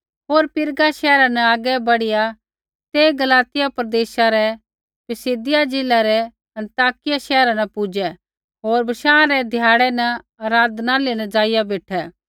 होर पिरगा शैहरा न आगै बढ़िआ ते गलातिया प्रदेशा रै पिसिदिया ज़िला रै अन्ताकिया शैहरा न पुजै होर बशाँ रै ध्याड़ै री न आराधनालय न ज़ाइआ बेठै